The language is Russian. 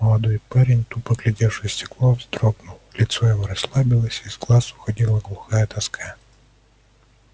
молодой парень тупо глядевший в стекло вздрогнул лицо его расслабилось из глаз уходила глухая тоска